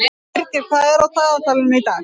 Birgir, hvað er á dagatalinu í dag?